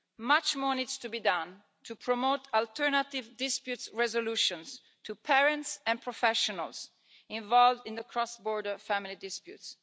Much more needs to be done to promote alternative dispute resolutions among parents and professionals involved in the cross-border family disputes.